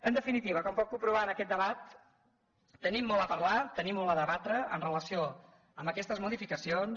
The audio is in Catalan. en definitiva com pot comprovar en aquest debat tenim molt a parlar tenim molt a debatre amb relació a aquestes modificacions